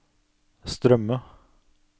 strømme